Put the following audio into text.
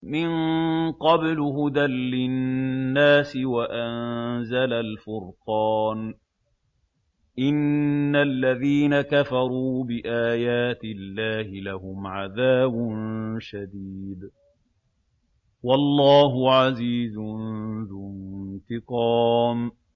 مِن قَبْلُ هُدًى لِّلنَّاسِ وَأَنزَلَ الْفُرْقَانَ ۗ إِنَّ الَّذِينَ كَفَرُوا بِآيَاتِ اللَّهِ لَهُمْ عَذَابٌ شَدِيدٌ ۗ وَاللَّهُ عَزِيزٌ ذُو انتِقَامٍ